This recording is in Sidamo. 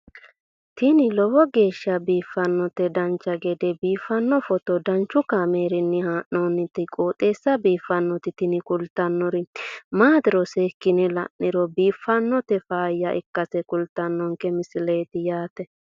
tini lowo geeshsha biiffannoti dancha gede biiffanno footo danchu kaameerinni haa'noonniti qooxeessa biiffannoti tini kultannori maatiro seekkine la'niro biiffannota faayya ikkase kultannoke misileeti yaate